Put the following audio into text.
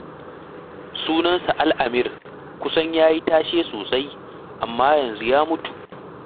Sunansa Al'amir, kusan dai ya yi tashe sosai, amma yanzu ya mutu.